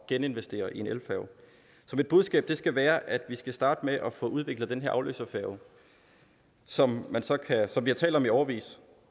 geninvestere i en elfærge så mit budskab skal være at vi skal starte med at få udviklet den her afløserfærge som som vi har talt om i årevis